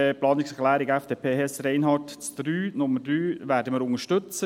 Die Planungserklärung FDP, Hess/Reinhard, Nummer 3, werden wir unterstützen.